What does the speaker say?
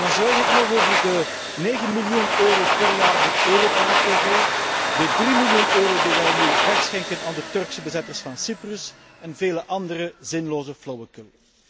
Dan zwijg ik nog over de 9 miljoen euro per jaar voor Europarl tv, de 3 miljoen euro die wij nu wegschenken aan de Turkse bezetters van Cyprus, en vele andere zinloze flauwekul.